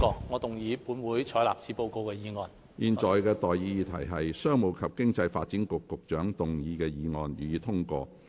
我現在向各位提出的待議議題是：商務及經濟發展局局長動議的議案，予以通過。